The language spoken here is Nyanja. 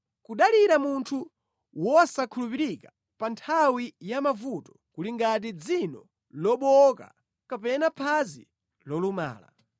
Kudalira munthu wosankhulupirika pa nthawi ya mavuto, kuli ngati dzino lobowoka kapena phazi lolumala.